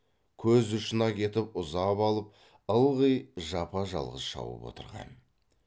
көз ұшына кетіп ұзап алып ылғи жапа жалғыз шауып отырған